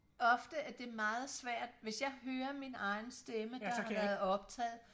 ofte at det er meget svært hvis jeg hører min egen stemme der har været optaget